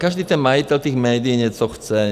Každý ten majitel těch médií něco chce.